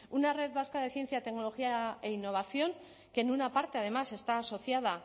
una red vasca de ciencia tecnología e innovación que en una parte además está asociada